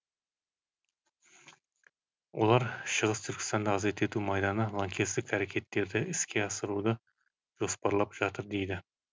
олар шығыс түркістанды азат ету майданы лаңкестік әрекеттерді іске асыруды жоспарлап жатыр дейді